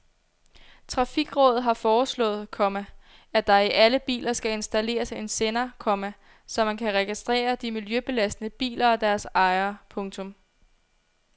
Trafikrådet har foreslået, komma at der i alle biler skal installeres en sender, komma så man kan registrere de miljøbelastende biler og deres ejere. punktum